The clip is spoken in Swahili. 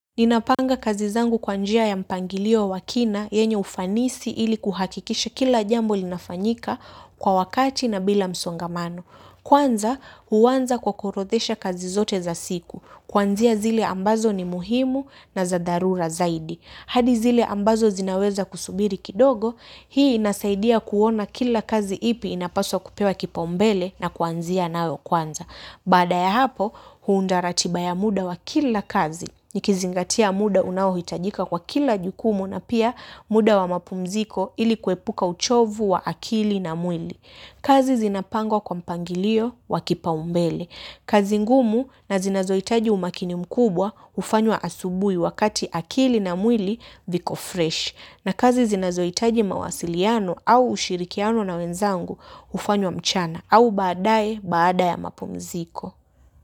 Ninapanga kazi zangu kwa njia ya mpangilio wa kina, yenye ufanisi ili kuhakikisha kila jambo linafanyika kwa wakati na bila msongamano. Kwanza, huaanza kwa kuorodhesha kazi zote za siku. Kuanzia zile ambazo ni muhimu na za dharura zaidi. Hadi zile ambazo zinaweza kusubiri kidogo, hii inasaidia kuona kila kazi ipi inapaswa kupewa kipaombele na kuanzia nayo kwanza. Baada ya hapo, huunda ratiba ya muda wa kila kazi. Nikizingatia muda unaohitajika kwa kila jukumu na pia muda wa mapumziko ili kuepuka uchovu wa akili na mwili. Kazi zinapangwa kwa mpangilio wa kipao mbele. Kazi ngumu na zinazohitaji umakini mkubwa hufanywa asubuhi wakati akili na mwili viko fresh. Na kazi zinazohitaji mawasiliano au ushirikiano na wenzangu hufanywa mchana au baadae baada ya mapumziko.